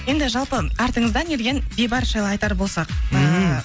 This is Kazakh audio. енді жалпы артыңыздан ерген бейбарыс жайлы айтар болсақ ммм